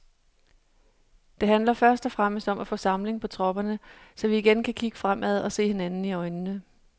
Det handler først og fremmest om at få samling på tropperne, så vi igen kan kigge fremad og se hinanden i øjnene.